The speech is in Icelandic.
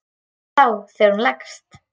Hvað þá þegar hún leggst.